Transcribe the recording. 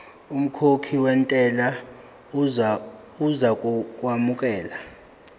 umkhokhi wentela uzokwamukelwa